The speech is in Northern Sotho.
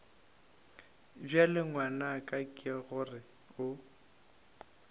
bjale ngwanaka ke gore o